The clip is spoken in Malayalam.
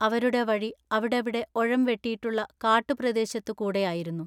അവരുടെ വഴി അവിടവിടെ ഒഴം വെട്ടീട്ടുള്ള കാട്ടുപ്രദേശത്തു കൂടെയായിരുന്നു.